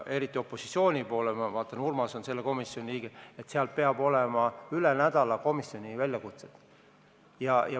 Opositsiooni poole peal on Urmas selle komisjoni liige, seal peab olema üle nädala väljakutseid komisjoni.